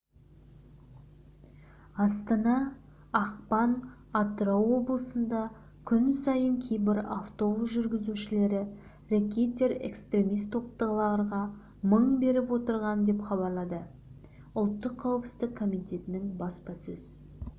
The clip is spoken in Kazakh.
астана ақпан атырау облысында күн сайын кейбір автобус жүргізушілері рэкетир-экстремист топтағыларға мың беріп отырған деп хабарлады ұлттық қауіпсіздік комитетінің баспасөз